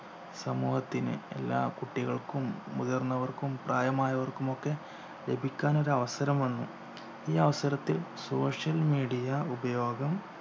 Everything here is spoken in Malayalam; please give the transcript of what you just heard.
സമൂഹത്തിന് എല്ലാ കുട്ടികൾക്കും മുതിർന്നവർക്കും പ്രായമായവർക്കും ഒക്കെ ലഭിക്കാൻ ഒരവസരം വന്നു ഈ അവസരത്തിൽ social media ഉപയോഗം